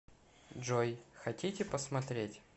джой хотите посмотреть